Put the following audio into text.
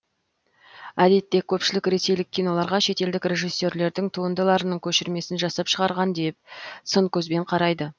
әдетте көпшілік ресейлік киноларға шетелдік режиссерлердің туындыларының көшірмесін жасап шығарған деп сын көзбен қарайды